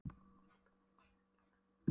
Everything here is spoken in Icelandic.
Hann skipaði mér að koma mér úr gluggakistunni.